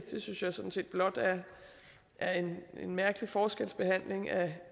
synes jeg sådan set blot er en mærkelig forskelsbehandling af